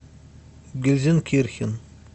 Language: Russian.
гельзенкирхен